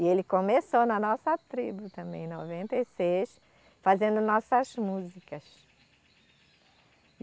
E ele começou na nossa tribo também, em noventa e seis, fazendo nossas músicas.